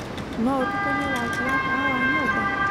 no ũtũkanĩe rangĩ wa tawa wa nyũmba